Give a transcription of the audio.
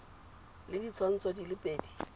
le ditshwantsho di le pedi